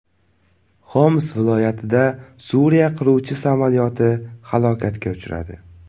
Xoms viloyatida Suriya qiruvchi samolyoti halokatga uchradi.